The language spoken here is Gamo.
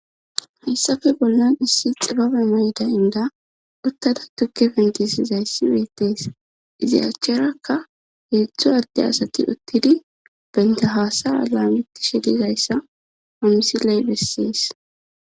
hessafe bollan issi xibabe meyday inda uttada tukke fentisi zayssi weettees izayacherakka heedzdzu adde asati uttidi benta haasara laametishe dizayssa pomisiley bessis